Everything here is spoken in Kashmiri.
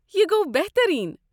یہِ گوٚو بہترین ۔